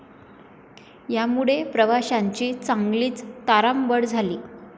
यामुळे प्रवाशांची चांगलीच तारांबळ झाली.